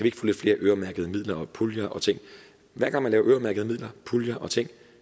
ikke få lidt flere øremærkede midler puljer og ting hver gang man laver øremærkede midler puljer og ting